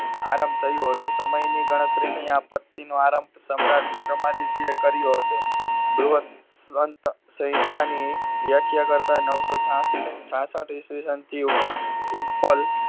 આરંભ થયું હતું. સમયની ગણતરીની આ પત્તીનો આરંભ સમ્રાટ વિક્રમાદિત્યએ કર્યો હતો. સંહિતાની વ્યાખ્યા કરતા નવસો છા~છાસઠ ઈસ્વીસનથી ઉત્પલ